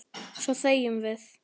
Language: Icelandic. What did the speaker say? Svo þegjum við.